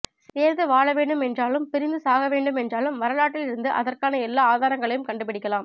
சேர்ந்து வழவெண்டும் என்றாலும் பிரிந்து சாகவேண்டும் என்றாலும் வரலாற்றில் இருந்து அதற்கான எல்லா ஆதாரங்களையும் கண்டு பிடிக்கலாம்